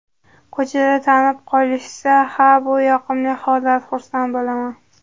Ko‘chada tanib qolishsa, ha, bu yoqimli holat, xursand bo‘laman.